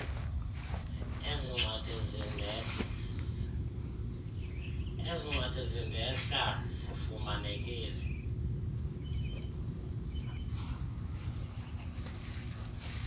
ezincwadi zindenhla zifumanekile